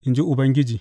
in ji Ubangiji.